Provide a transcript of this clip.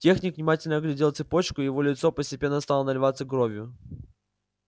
техник внимательно оглядел цепочку и его лицо постепенно стало наливаться кровью